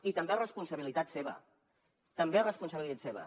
i també és responsabilitat seva també és responsabilitat seva